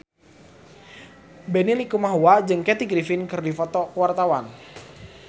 Benny Likumahua jeung Kathy Griffin keur dipoto ku wartawan